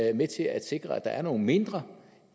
er med til at sikre at der er nogle mindre